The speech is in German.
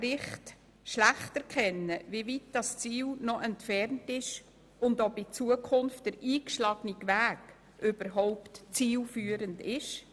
So können wir schlecht erkennen, wie weit das Ziel entfernt ist und ob der eingeschlagene Weg zukünftig überhaupt zielführend ist.